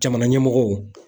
Jamana ɲɛmɔgɔw